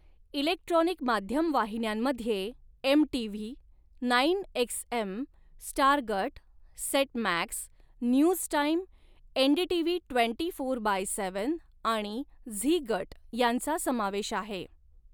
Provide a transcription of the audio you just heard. Electronic माध्यम वाहिन्यांमध्ये MTV., nine XM., star गट, set max, news time, NDTV. Twenty four by seven आणि झी गट यांचा समावेश आहे.